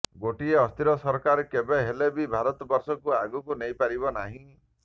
ଗୋଟିଏ ଅସ୍ଥିର ସରକାର କେବେ ହେଲେ ବି ଭାରତବର୍ଷକୁ ଆଗକୁ ନେଇପାରିବ ନାହିଁ